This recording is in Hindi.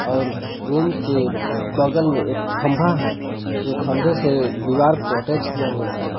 और रूम के बगल में एक खंबा है ज़ो खंबे से दीवार को अटैच किया हुआ है।